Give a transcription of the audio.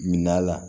Minan la